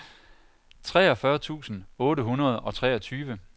treogfyrre tusind otte hundrede og treogtyve